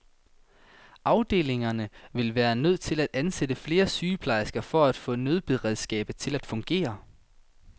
Afdelingerne ville være nødt til at ansætte flere sygeplejersker for at få nødberedskabet til at fungere.